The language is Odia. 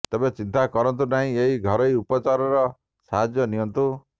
ତେବେ ଚିନ୍ତା କରନ୍ତୁ ନାହିଁ ଏହି ଘରୋଇ ଉପଚରର ସାହାଯ୍ୟ ନିଅନ୍ତୁ